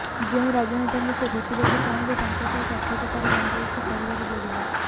ଯେଉଁ ରାଜନେତାଙ୍କୁ ସେ ଭେଟିବାକୁ ଚାହିଁବେ ତାଙ୍କ ସହ ସାକ୍ଷାତକାର ବନ୍ଦୋବସ୍ତ କରିବାକୁ ପଡ଼ିବ